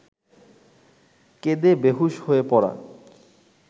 কেঁদে বেঁহুশ হয়ে পড়া